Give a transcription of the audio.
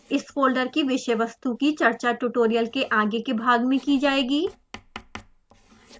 इस फोल्डर की विषय वस्तु की चर्चा ट्यूटोरियल के आगे के भाग में कि जाएगी